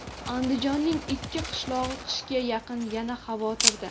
Andijonning ikki qishlog‘i qishga yaqin yana xavotirda.